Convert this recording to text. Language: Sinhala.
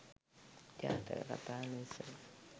ජාතක කථා ලෙස